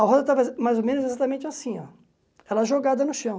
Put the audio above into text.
A roda estava mais ou menos exatamente assim ó, ela jogada no chão.